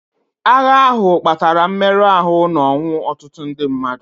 Agha ahụ kpatara mmerụ ahụ na ọnwụ ọtụtụ ndị mmadụ.